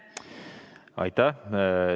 Aitäh!